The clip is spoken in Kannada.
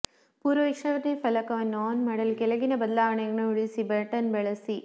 ಪೂರ್ವವೀಕ್ಷಣೆ ಫಲಕವನ್ನು ಆನ್ ಮಾಡಲು ಕೆಳಗಿನ ಬದಲಾವಣೆಗಳನ್ನು ಉಳಿಸಿ ಬಟನ್ ಬಳಸಿ